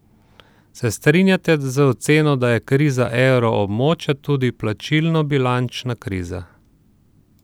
Se strinjate z oceno, da je kriza evroobmočja tudi plačilnobilančna kriza?